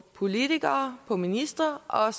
politikere og ministre og